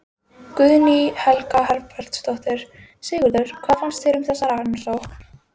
Guðný Helga Herbertsdóttir: Sigurður, hvað finnst þér um þessa rannsókn?